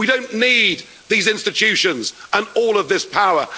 Court. We don't need these institutions and all of this